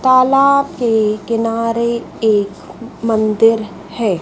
तालाब के किनारे एक मंदिर है।